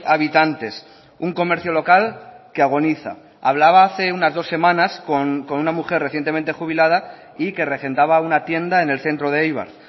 habitantes un comercio local que agoniza hablaba hace unas dos semanas con una mujer recientemente jubilada y que regentaba una tienda en el centro de eibar